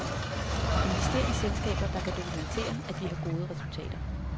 Invester i selskaber, der kan dokumentere, at de har gode resultater.